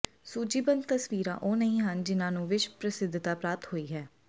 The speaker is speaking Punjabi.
ਸੂਚੀਬੱਧ ਤਸਵੀਰਾਂ ਉਹ ਨਹੀਂ ਹਨ ਜਿੰਨਾਂ ਨੂੰ ਵਿਸ਼ਵ ਪ੍ਰਸਿੱਧਤਾ ਪ੍ਰਾਪਤ ਹੋਈ ਹੈ